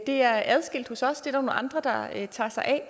det er adskilt hos os det nogle andre der tager sig af